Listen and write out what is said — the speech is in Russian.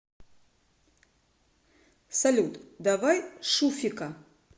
салют давай шуфика